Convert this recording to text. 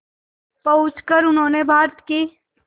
पहुंचकर उन्होंने भारत की